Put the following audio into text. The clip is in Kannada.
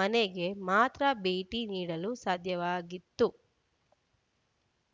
ಮನೆಗೆ ಮಾತ್ರ ಭೇಟಿ ನೀಡಲು ಸಾಧ್ಯವಾಗಿತ್ತು